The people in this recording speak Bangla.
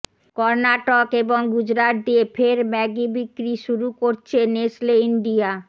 কর্নাটক এবং গুজরাট দিয়ে ফের ম্যাগি বিক্রি শুরু করছে নেসলে ইন্ডিয়া